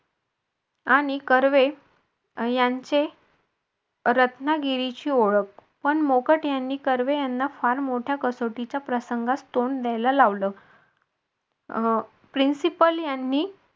आणि कर्वे यांचे रत्नागिरी ची ओळख पण मोकट यांनी कर्वे यांना फार मोठ्या कसोटीच्या प्रसंगात तोंड द्यायला लावलं principal यांनी